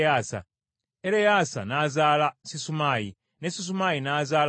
Ereyaasa n’azaala Sisumaayi, ne Sisumaayi n’azaala Sallumu.